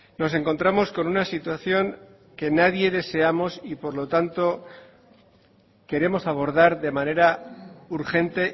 nos encontramos con una situación que nadie deseamos y por lo tanto queremos abordar de manera urgente